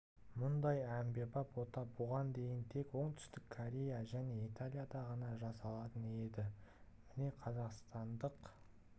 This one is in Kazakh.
мұндай әмбебап ота бұған дейін тек оңтүстік корея және италияда ғана жасалатын енді міне қазақстандық